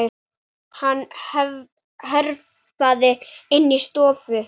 Hann hörfaði inn í stofu.